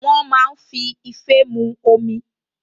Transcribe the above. Wọ́n máa ń fi ife mu omi